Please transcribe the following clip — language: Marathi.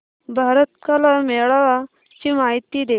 भारत कला मेळावा ची माहिती दे